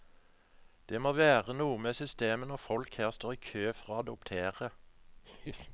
Det må være noe med systemet når folk her står i kø for å adoptere.